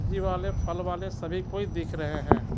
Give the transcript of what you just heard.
ये वाले फल वाले सभी कोई दिख रहे हैं.